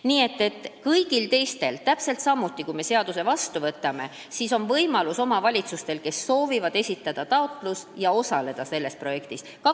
Nii et kui me selle seaduse vastu võtame, siis on ka kõigil teistel omavalitsustel, kes soovivad, võimalik esitada taotlus ja selles projektis osaleda.